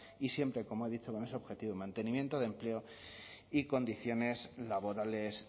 y siempre como he dicho con ese objetivo de mantenimiento de empleo y condiciones laborales